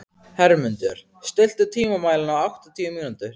Hermundur, stilltu tímamælinn á áttatíu mínútur.